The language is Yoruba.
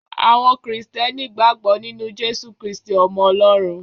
Àwọn Krìstẹ́nì gbàgbọ́ nínú Jesu Kristí, ọmọ Ọlọ́run.